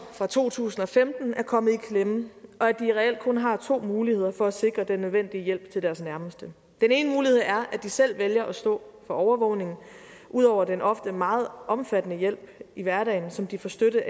fra to tusind og femten er kommet i klemme og at de reelt kun har to muligheder for at sikre den nødvendige hjælp til deres nærmeste den ene mulighed er at de selv vælger at stå for overvågningen ud over den ofte meget omfattende hjælp i hverdagen som de får støtte